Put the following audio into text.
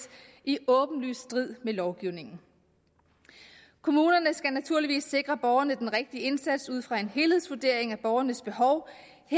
i åbenlys strid med lovgivningen kommunerne skal naturligvis sikre borgerne den rigtige indsats ud fra en helhedsvurdering af borgernes behov